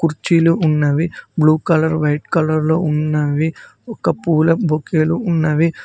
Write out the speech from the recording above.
కొన్ని కుర్చీలు ఉన్నవి బ్లూ కలర్ వైట్ కలర్ లో ఉన్నవి ఒక పూల బొకేలు ఉన్నవి.